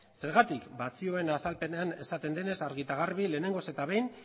zergatik ba zioen azalpenean esaten denez argi eta garbi lehenengoz eta behin